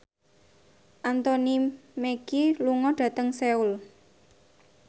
Anthony Mackie lunga dhateng Seoul